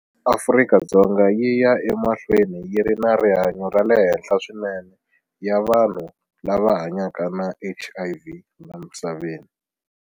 Afrika-Dzonga yi ya emahlweni yi ri na nhlayo ya le henhla swinene ya vanhu lava hanyaka na HIV la misaveni.